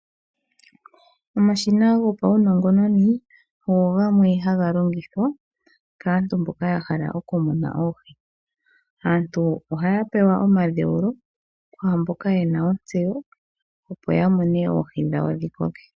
Omashina gopaunongononi ogo gamwe haga longithwa kaantu mboka ya hala oku muna oohi. Aantu ohaya pewa omadheulo kwaamboka yena ontseyo opo ya mune oohi dhawo dhi koke.